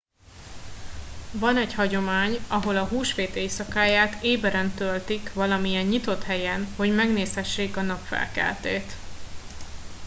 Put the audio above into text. van egy hagyomány ahol a húsvét éjszakáját éberen töltik valamilyen nyitott helyen hogy megnézhessék a napfelkeltét